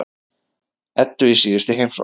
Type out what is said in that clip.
Eddu í síðustu heimsókn.